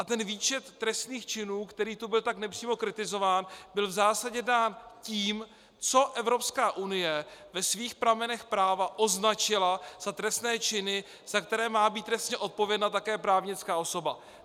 A ten výčet trestných činů, který tu byl tak nepřímo kritizován, byl v zásadě dán tím, co Evropská unie ve svých pramenech práva označila za trestné činy, za které má být trestně odpovědna také právnická osoba.